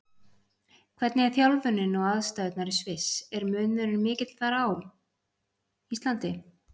Hvernig er þjálfunin og aðstæðurnar í Sviss, er munurinn mikill þar og á Íslandi?